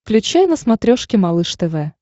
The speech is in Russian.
включай на смотрешке малыш тв